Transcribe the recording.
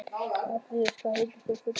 Fabrisíus, hvað heitir þú fullu nafni?